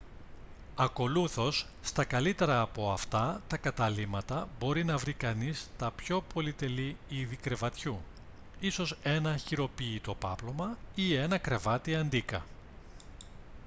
ακολούθως στα καλύτερα από αυτά τα καταλύματα μπορεί να βρει κανείς τα πιο πολυτελή είδη κρεβατιού ίσως ένα χειροποίητο πάπλωμα ή ένα κρεβάτι αντίκα